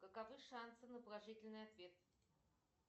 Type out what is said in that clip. каковы шансы на положительный ответ